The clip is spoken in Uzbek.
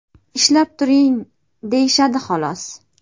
Ishlab turing deyishadi xolos.